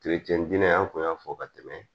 dinɛ an kun y'a fɔ ka tɛmɛ